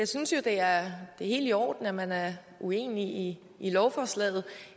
synes jo at det er helt i orden at man er uenig i lovforslaget